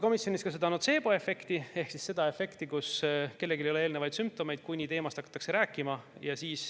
Komisjonis arutati ka notseeboefekti ehk seda, kui kellelgi ei ole eelnevaid sümptomeid, kuni teemast hakatakse rääkima.